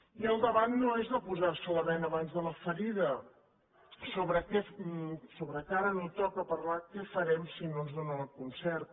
i el debat no és de posar se la bena abans de la ferida sobre que ara no toca parlar què farem si no ens donen el concert